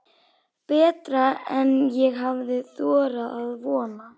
Betra en ég hafði þorað að vona